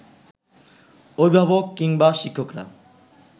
অভিভাবক কিংবা শিক্ষকরা